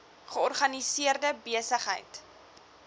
georganiseerde besig heid